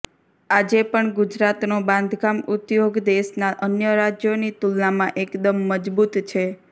આજે પણ ગુજરાતનો બાંધકામ ઉદ્યોગ દેશના અન્ય રાજ્યોની તુલનામાં એકદમ મજબૂત છે